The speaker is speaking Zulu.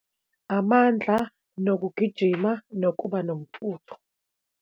Amandla, nokugijima, nokuba nomfutho.